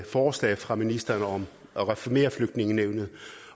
forslag fra ministeren om at reformere flygtningenævnet